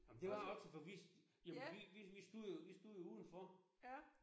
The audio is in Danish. Ej men det var også for vi jamen vi vi vi stod jo vi stod jo udenfor